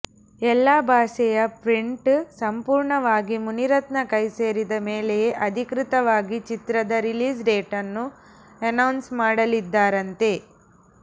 ಎಲ್ಲಾ ಭಾಷೆಯ ಪ್ರಿಂಟ್ ಸಂಪೂರ್ಣವಾಗಿ ಮುನಿರತ್ನ ಕೈ ಸೇರಿದ ಮೇಲೆಯೆ ಅಧಿಕೃತವಾಗಿ ಚಿತ್ರದ ರಿಲೀಸ್ ಡೇಟನ್ನು ಅನೌನ್ಸ್ ಮಾಡಲಿದ್ದಾರಂತೆ